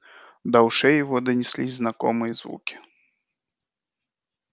до ушей его донеслись знакомые звуки